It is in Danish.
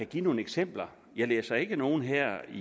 give nogle eksempler jeg læser ikke nogen her i